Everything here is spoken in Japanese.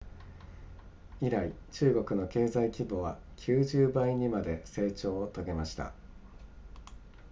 以来中国の経済規模は90倍にまで成長を遂げました